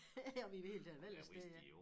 Om I i det hele taget vil af sted jo